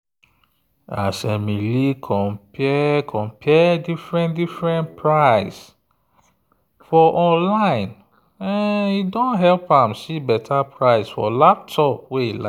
as emily compare different-different price for online e don help am see better price for laptop wey e like.